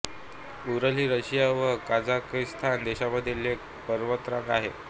उरल ही रशिया व कझाकस्तान देशांमधील एक पर्वतरांग आहे